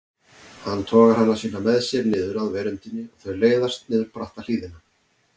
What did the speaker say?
Hann togar hana síðan með sér niður af veröndinni og þau leiðast niður bratta hlíðina.